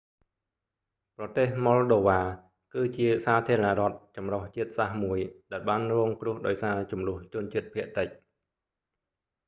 ប្រទេស ម៉ុលដូវ៉ា moldova គឺ ជាសាធារណរដ្ឋចម្រុះជាតិសាសន៍មួយ ដែលបានរងគ្រោះដោយសារជម្លោះជនជាតិភាគតិច